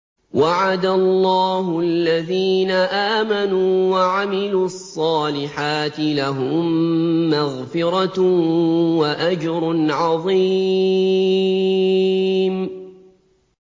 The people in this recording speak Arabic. وَعَدَ اللَّهُ الَّذِينَ آمَنُوا وَعَمِلُوا الصَّالِحَاتِ ۙ لَهُم مَّغْفِرَةٌ وَأَجْرٌ عَظِيمٌ